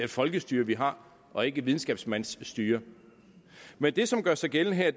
et folkestyre vi har og ikke et videnskabsmandsstyre men det som gør sig gældende her